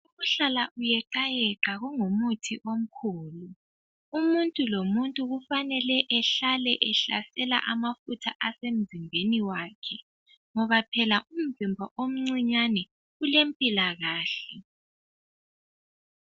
Ukuhlala ukuyeqayeqa kungumuthi omkhulu. Umuntu lomuntu kufanele ehlale ehlasela amafutha asemzimbeni wakhe ngoba phela umzimba omncane ulempilakahle.